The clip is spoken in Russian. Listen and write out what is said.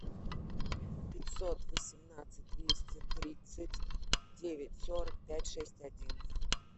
пятьсот восемнадцать двести тридцать девять сорок пять шесть один